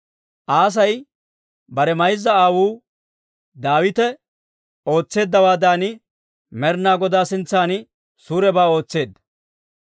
Aasi bare mayza aawuu Daawite ootseeddawaadan, Med'inaa Godaa sintsan suurebaa ootseedda.